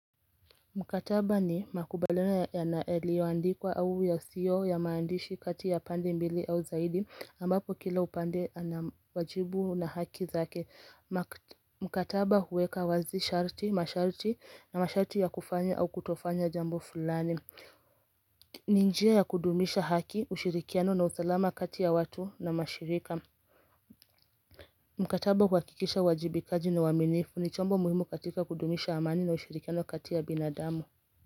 Mkataba ni makubaliano yalioandikwa au yasiyo ya maandishi kati ya pande mbili au zaidi ambapo kila upande ana wajibu na haki zake Mkataba huweka wazi masharti na masharti ya kufanya au kutofanya jambo fulani ni njia ya kudumisha haki, ushirikiano na usalama kati ya watu na mashirika Mkataba huakikisha uwajibikaji na uwaminifu ni chombo muhimu katika kudumisha amani na ushirikiano kati ya binadamu.